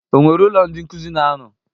O nwere ụlọ ndị nkuzi na-ano?